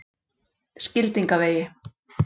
Skildingavegi